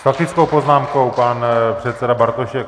S faktickou poznámkou pan předseda Bartošek.